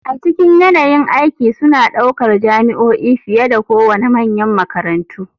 A cikin yanayin aiki suna ɗaukar jami'o'i fiye da kowane manyan makarantu.